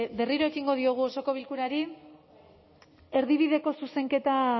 berriro ekingo diogu osoko bilkurari erdi bideko zuzenketa